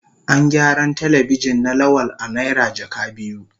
An gyaran Telebijin na Lawal a naira jaka biyu.